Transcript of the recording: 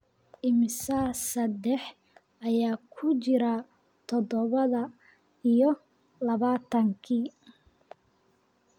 Immisa saddex ayaa ku jira toddoba iyo labaatankii?